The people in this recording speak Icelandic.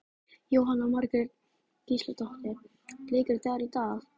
Jóhanna Margrét Gísladóttir: Bleikur dagur í dag?